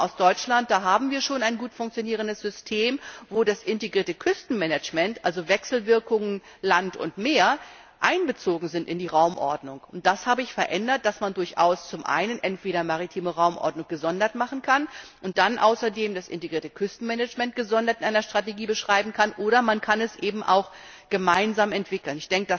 Ich komme aus Deutschland, da haben wir schon ein gut funktionierendes System, wo das integrierte Küstenmanagement also Wechselwirkungen zwischen Land und Meer einbezogen ist in die Raumordnung. Das habe ich dahin gehend verändert, dass man durchaus zum einen entweder maritime Raumordnung gesondert machen kann und dann außerdem das integrierte Küstenmanagement gesondert in einer Strategie beschreiben kann, oder man kann es eben auch gemeinsam entwickeln.